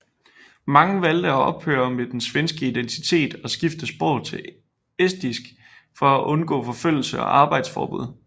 Mange valgte at ophøre med den svenske identitet og skifte sprog til estisk for at undgå forfølgelse og arbejdsforbud